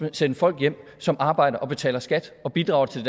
at sende folk som arbejder og betaler skat og bidrager til